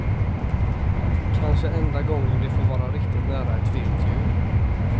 Kanske enda gången de får vara riktigt nära ett vilt djur.